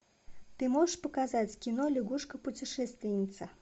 ты можешь показать кино лягушка путешественница